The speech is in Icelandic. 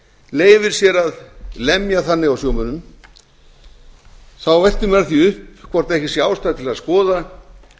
leyfir sér að lemja þannig á sjómönnum veltir maður því upp hvort ekki sé ástæða til að skoða